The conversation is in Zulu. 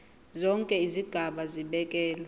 zonke izigaba zibekelwe